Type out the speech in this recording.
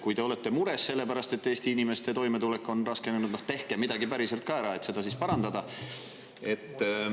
Kui te olete mures selle pärast, et Eesti inimeste toimetulek on raskenenud, siis tehke midagi päriselt ka ära, et seda parandada.